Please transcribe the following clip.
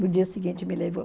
No dia seguinte me levou.